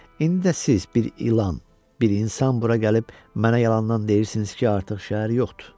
İndi də siz bir ilan, bir insan bura gəlib mənə yalandan deyirsiniz ki, artıq şəhər yoxdur.